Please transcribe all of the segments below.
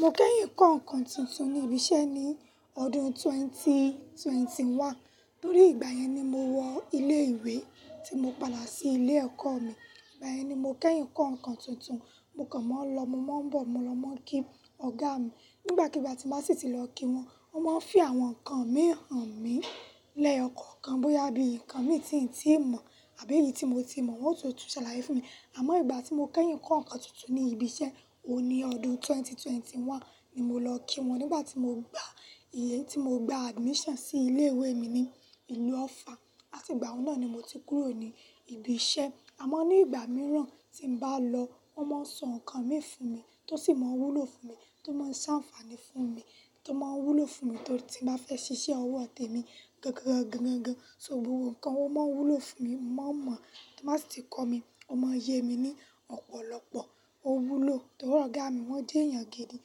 Mo kẹ́yìn kọ́ nǹkan tuntun ní ibi iṣẹ́ ní ọdún ẹgbẹ̀rún méjì ó lé mọ́kànlélógún. Torí ìgbà yẹn ni mo wọ ilé ìwé tí mo padà sí ilé ẹ̀kọ́ mi. Ìgbà yẹn ni mo kẹ́yìn kọ́ nǹkan tuntun. Mo kàn maa n lọ, mo maa ń bọ̀, mo lọ máa ń kí Ọ̀gá mi. Nígbàkigbà tí mo bá sì ti lọ kí wọn, wọ́n máa ń fì àwọn nǹkan mi hàn mí lẹ́ẹyọ̀kokan bóyá bí nǹkan mi tí n tí mọ̀ àbí èyí tí mo ti mọ̀ wọ́n tó tún ṣàlàyé fún mi. Àmọ́ ìgbà tí mo kẹ́yìn kọ́ nǹkan tuntun ní ibi iṣẹ́, o ní ọdún ẹgbẹ̀rún méjì ó lé mọ́kànlélógún ni mo lọ kí wọ́n nígbà tí mo gba ìyè tí mo gba admission sí ilé ìwé mi ní ìlú Ọ̀ffà. Àti ìgbà un náà ni mo ti kúrò ní ibi iṣẹ́. Àmọ́ ní ìgbà mìíràn tí n bá lọ, wọ́n máa ń sọ nǹkan mi fún mi tó sì máa ń wúlò fún mi tó máa ń sá àǹfààní fún mi tó máa ń wúlò fún mi tóri ti n bá fẹ́ ṣiṣẹ́ ọwọ́ àti mi gangan gan gan gan. So nǹkan wọn máa ń wúlò fún mi, mo maa n mọ̀ tí wọ́n bá sì ti kọ́ mi. Ọ́ maa n yé mi ní ọ̀pọ̀lọpọ̀. O wúlò torí Ọ̀gá mi wọ́n jẹ́ èèyàn gidi.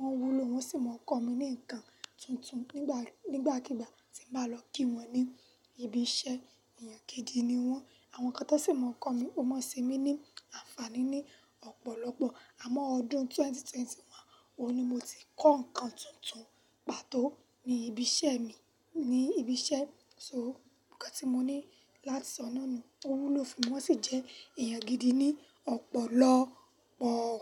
Wọ́n wúlò wọ́n sì máa ń kọ́ mi ní nǹkan tuntun nígbà, nígbàkigbà tí n bá lọ kí wọn ní ibi iṣẹ́. Èèyàn gidi ni wọ́n. Àwọn nnkan tó sì máa ń kọ́ mi. O máa ń ṣe mí ní àǹfààní ní ọ̀pọ̀lọpọ̀. Àmọ́ ọdún ẹgbẹ̀rún méjì ó lé mọ́kànlélógún o ni mo ti kọ́ nǹkan tuntun pàtó ní ibi iṣẹ́ mi, ní ibi iṣẹ́. So nǹkan tí mo ní láti sọ náà ni tó wúlò fún mi wọ́n sì jẹ́ èèyàn gidi ní ọ̀pọ̀lọpọọ.